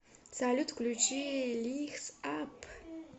салют включи лайтс ап